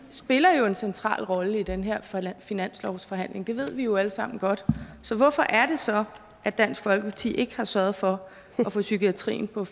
spiller jo en central rolle i den her finanslovsforhandling det ved vi jo alle sammen godt så hvorfor er det så at dansk folkeparti ikke har sørget for at få psykiatrien på